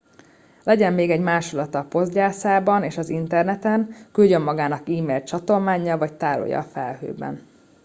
legyen még egy másolata a poggyászában és az interneten küldjön magának e-mailt csatolmánnyal vagy tárolja a felhőben”